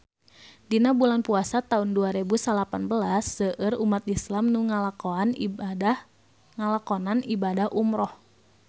Dina bulan Puasa taun dua rebu salapan belas seueur umat islam nu ngalakonan ibadah umrah